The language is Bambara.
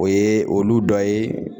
O ye olu dɔ ye